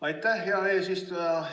Aitäh, hea eesistuja!